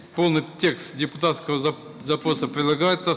полный текст депутатского запроса прилагается